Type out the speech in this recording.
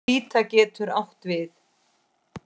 Hvíta getur átt við